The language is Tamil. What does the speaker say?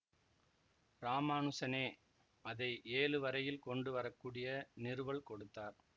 இராமானுசனே அதை ஏழு வரையில் கொண்டு வரக்கூடிய நிறுவல் கொடுத்தார்